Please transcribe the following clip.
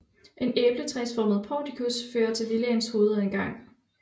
En æbletræsformet portikus fører til villaens hovedindgang